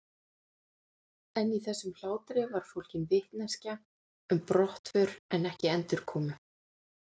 En í þessum hlátri var fólgin vitneskja um brottför en ekki endurkomu.